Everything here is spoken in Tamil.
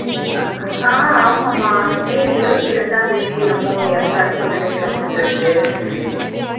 ஆஹ் ஆமாம்மா மே இருவத்தி ரெண்டாம் தேதி என்னமோ இறந்தார்னு சொல்லிட்டு news ல போயிட்டு இருக்கு